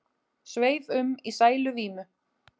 Sveif um í sæluvímu.